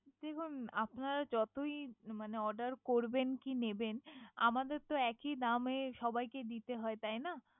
দেখুন আপনারা যতই মানে Order করবেন কি নিবেন আমাদের একই দামে সবাইকে দিতে হয়। তাই না।